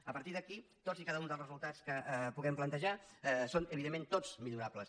a partir d’aquí tots i cada un dels resultats que puguem plantejar són evidentment tots millorables